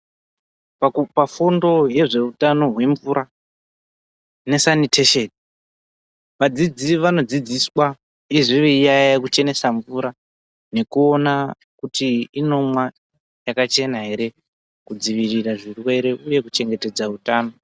Pakupafundo yezveutano hwemvura, nesanitesheni, vadzidzi vanodzidziswa uyezve veiyaeya kuchenesa mvura, nekuona kuti inomwa yakachena ere, kudzivirira zvirwere uye kuchengetedza utano.